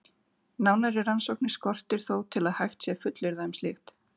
Nánari rannsóknir skortir þó til að hægt sé að fullyrða um slíkt.